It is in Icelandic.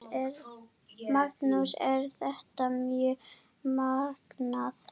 Magnús: Er þetta mjög magnað?